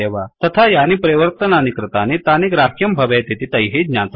तथा यानि परिवर्तनानि कृतानि तानि ग्राह्यं भवेत् इति तैः ज्ञातव्यम्